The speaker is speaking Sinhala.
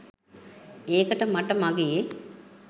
ඒකට මට මගේ